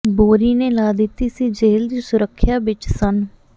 ਬੋਰੀ ਨੇ ਲਾ ਦਿੱਤੀ ਸੀ ਜੇਲ੍ਹ ਦੀ ਸੁਰੱਖਿਆ ਵਿਚ ਸੰਨ੍ਹ